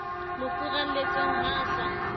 mo furalletseng ha a sa